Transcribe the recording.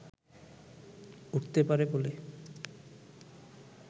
উঠতে পারে বলে